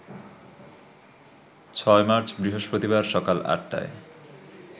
৬ March বৃহস্পতিবার সকাল ৮টায়